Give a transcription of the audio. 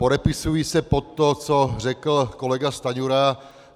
Podepisuji se pod to, co řekl kolega Stanjura.